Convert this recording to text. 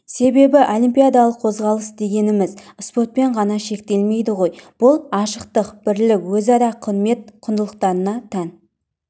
себебі олимпиадалық қозғалыс дегеніміз спортпен ғана шектелмейді ғой бұл ашықтық бірлік өзара құрмет құндылықтарына тән